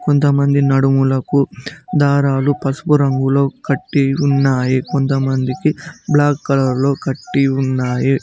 ఇంతమంది నడుములకు దారాలు పసుపు రంగులో కట్టి ఉన్నాయి కొంతమందికి బ్లాక్ కలర్లో కట్టి ఉన్నాది.